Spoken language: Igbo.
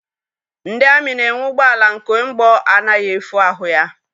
Ndị amị na-enwe ụgbọala nke mgbọ anaghị efu ahụ ya.